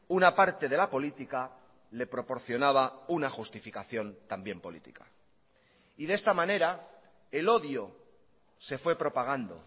una parte de la política le proporcionaba una justificación también política y de esta manera el odio se fue propagando